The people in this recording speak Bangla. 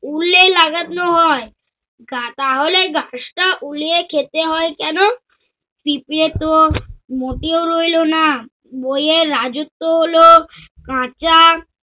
উলে লাগানো হয়। তাহলে গাছটা উলিয়ে খেতে হয় কেন? পিঁপড়ে তো মোটেও রইল না বইয়ে রাজত্ব হলো-কাঁচা